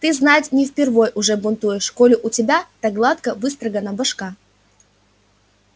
ты знать не впервой уже бунтуешь коли у тебя так гладко выстрогана башка